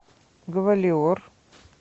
гвалиор